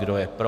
Kdo je pro?